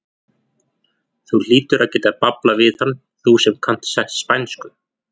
Þú hlýtur að geta bablað við hann, þú sem kannt spænsku!